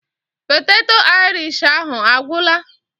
Poteto Aịrish ahụ a gwụla?